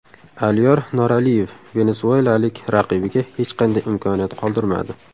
Aliyor Noraliyev venesuelalik raqibiga hech qanday imkoniyat qoldirmadi.